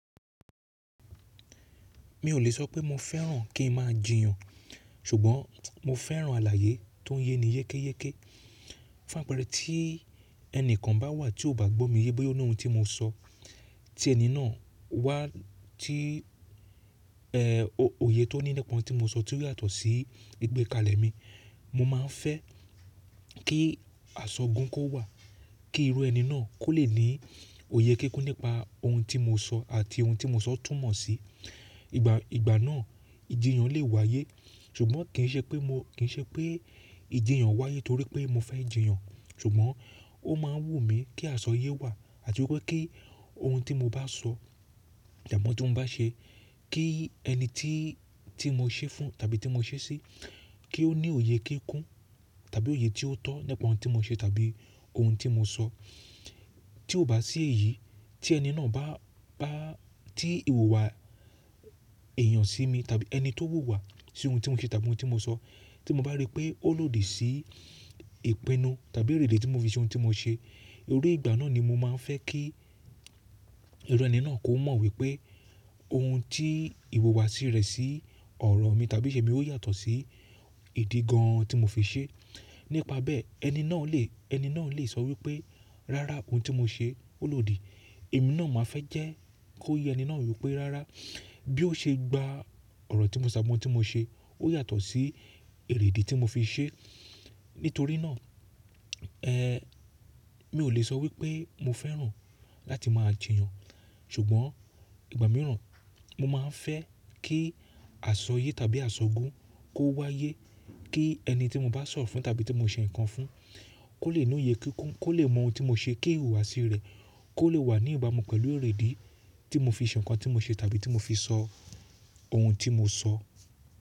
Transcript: Mi ò lè sọ pé mo fẹ́ràn kí n máa jiyàn, ṣùgbọ́n mo fẹ́ràn àlàyé tó ń yẹ ni yékéyéké. Fún àpẹẹrẹ, tí ẹni kan bá wà tí ó bá gbó mi yee bo ya lohun tí mo sọ, tí ẹni náà wá tí, ẹ, òye tó ní nípa ohun tí mo sọ tí ó yàtọ̀ sí ìgbékalẹ̀ mi, mo máa ń fẹ́ kí asọgun kó wà, kí irú ẹni náà kó lè ní òye kíkún nípa ohun tí mo sọ àti ohun tí mo sọ túmọ̀ sí. Ìgbà, ìgbà náà ìjiyàn lè wáyé ṣùgbọ́n kì í ṣe pé mo, kì í ṣe pé ìjiyàn wáyé torí pé mo fẹ́ jiyàn. Ṣùgbọ́n ó máa ń wù mí kí asọyé wà àti wípé kí ohun tí mo bá sọ, ìdààmú tí mo bá ṣe kí ẹni tí, tí mo ṣe fún tàbí tí mo ṣe sí, kí ó ní òye kíkún tàbí òye tí ó tọ́ nípa ohun tí mo ṣe tàbí ohun tí mo sọ. Tí ó bá sí èyí tí ẹni náà bá, bá tí ìwùwà èèyàn sí mi tàbí ẹni tó wù wà sí ohun tí mo ṣe tàbí ohun tí mo sọ, tí mo bá rí pé ó lòdì sí ìpinnu tàbí ìrìdí tí mo fi ṣe ohun tí mo ṣe, torí ìgbà náà ni mo máa ń fẹ́ kí irú ẹni náà kó mọ̀ wípé ohun tí ìwùwà sí rẹ̀ sí ọ̀rọ̀ mi tàbí iṣẹ́ mi ó yàtọ̀ sí ìdí gan an tí mo fi ṣe. Nípa bẹ́ẹ̀ ẹni náà lè, ẹni náà lè sọ wípé rárá ohun tí mo ṣe ó lòdì. Èmi náà máa fẹ́ jẹ́ kó yé ẹni náà wípé rárá bí ó ṣe gba ọ̀rọ̀ tí mo sọ àbí ohun tí mo ṣe ó yàtọ̀ sí ìredí tí mo fi ṣe. Nítorí náà, ẹ, mi ò lè sọ wípé mo fẹ́ràn láti máa jiyàn. Ṣùgbọ́n ìgbà mìíràn mo máa ń fẹ́ kí asọyé tàbí asọgun kó wáyé, kí ẹni tí mo bá sọ fún tàbí tí mo ṣe nǹkan fún kó lè ní òye kíkún, kó lè mọ ohun tí mo ṣe, kí ìwùwà sí rẹ̀ kó lè wà ní ìbámu pẹ̀lú ìredí tí mo fi ṣe nǹkan tí mo ṣe tàbí tí mo fi sọ ohun tí mo sọ.